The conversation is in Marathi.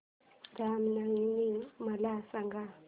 राम नवमी मला सांग